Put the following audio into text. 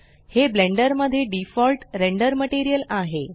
हे ब्लेंडर मध्ये default render material आहे